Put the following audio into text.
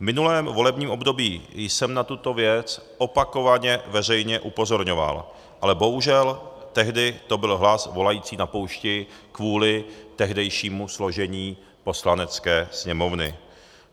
V minulém volebním období jsem na tuto věc opakovaně veřejně upozorňoval, ale bohužel, tehdy to byl hlas volající na poušti kvůli tehdejšímu složení Poslanecké sněmovny.